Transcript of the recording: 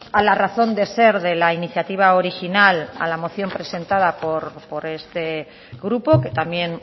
a la razón de ser de la iniciativa original a la moción presentada por este grupo que también